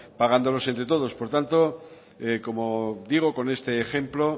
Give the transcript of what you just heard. pagándolos entre todos por tanto como digo con este ejemplo